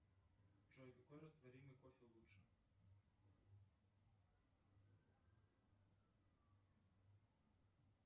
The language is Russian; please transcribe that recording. джой какой растворимый кофе лучше